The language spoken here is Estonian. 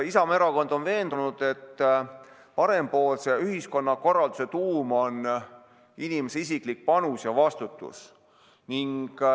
Isamaa Erakond on veendunud, et parempoolse ühiskonnakorralduse tuum on inimese isiklik panus ja vastutus.